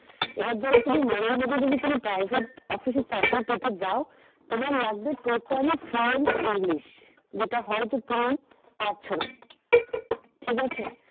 এবার ধরো তুমি মনের মতো যদি তুমি private office এ চাকরি পেতে যাও তোমার লাগবে totally english যেটা হয়তো তুমি পারছো না। ঠিক আছে